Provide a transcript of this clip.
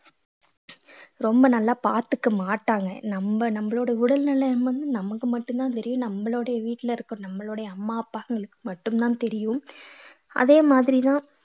ரொம்ப நல்லா பார்த்துக்க மாட்டாங்க நம்ம நம்மளோட உடல்நிலை வந்து நமக்கு மட்டும்தான் தெரியும் நம்மளுடைய வீட்டுல இருக்கிற நம்மளுடைய அம்மா அப்பாங்களுக்கு மட்டும்தான் தெரியும் அதே மாதிரிதான்